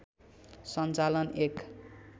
सञ्चालन एक